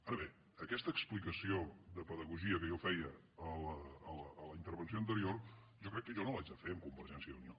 ara bé aquesta explicació de pedagogia que jo feia en la intervenció anterior jo crec que jo no l’haig de fer amb convergència i unió